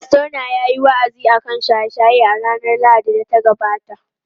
Fastona yayi wa’azi akan shaye-shaye a ranar Lahadin da ta gabata.